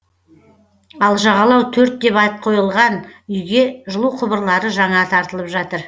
ал жағалау төрт деп ат қойылған үйге жылу құбырлары жаңа тартылып жатыр